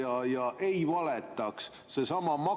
Aga ma vaatan, et siin ei ole mõjuanalüüsi, ei ole eelnevalt ega ka pärast.